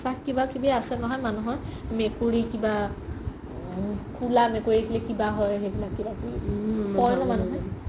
বিশ্বাস কিবা কিবি আছে নহয় মানুহৰ মেকুৰি কিবা কোলা মেকুৰি হ'লে কিবা হয় কিবা কিবি কই ন মানুহে